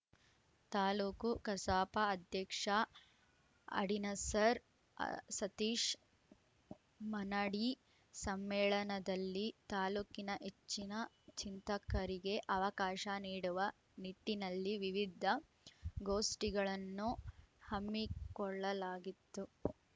ತಾಲೂಕು ಕಸಾಪ ಅಧ್ಯಕ್ಷ ಆಡಿನಸರ್ ಸತೀಶ್‌ ಮಾನಾಡಿ ಸಮ್ಮೇಳನದಲ್ಲಿ ತಾಲೂಕಿನ ಹೆಚ್ಚಿನ ಚಿಂತಕರಿಗೆ ಅವಕಾಶ ನೀಡುವ ನಿಟ್ಟಿನಲ್ಲಿ ವಿವಿಧ ಗೋಷ್ಠಿಗಳನ್ನು ಹಮ್ಮಿಕೊಳ್ಳಲಾಗಿತ್ತು